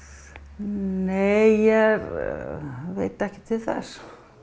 nei ég veit ekki til þess